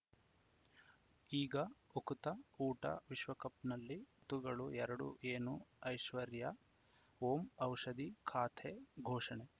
ಈಗ ಉಕುತ ಊಟ ವಿಶ್ವಕಪ್‌ನಲ್ಲಿ ತುಗಳು ಎರಡು ಏನು ಐಶ್ವರ್ಯಾ ಓಂ ಔಷಧಿ ಖಾತೆ ಘೋಷಣೆ